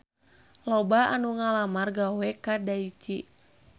Loba anu ngalamar gawe ka Daichi